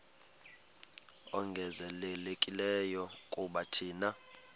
ongezelelekileyo kuba thina